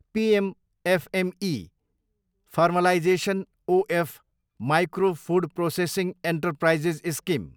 PM FME, formalisation O F micro food processing enterprises scheme